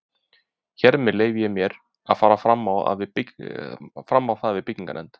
Hér með leyfi ég mér, að fara fram á það við byggingarnefnd